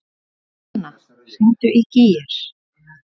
Dúnna, hringdu í Gígjar.